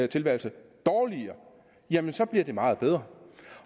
tilværelse dårligere jamen så bliver det meget bedre